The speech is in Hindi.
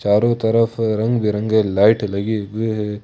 चारों तरफ रंग बिरंगे लाइट लगी हुई हैं।